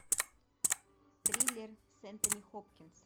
триллер с энтони хопкинс